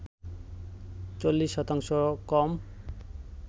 ৪০ শতাংশ কম